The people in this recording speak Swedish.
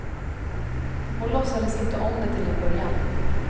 Hon låtsades inte om det till en början.